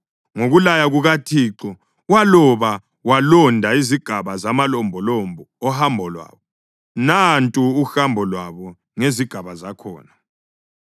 Ngokulaya kukaThixo waloba walonda izigaba zamalombolombo ohambo lwabo. Nantu uhambo lwabo ngezigaba zakhona: